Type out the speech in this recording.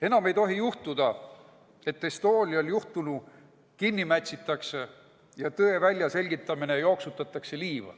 Enam ei tohi juhtuda, et Estonial juhtunu kinni mätsitakse ja tõe väljaselgitamine liiva jooksutatakse.